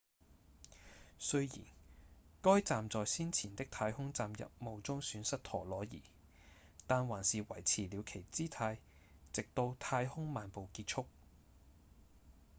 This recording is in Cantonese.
雖然該站在先前的太空站任務中損失陀螺儀但還是維持了其姿態直到太空漫步結束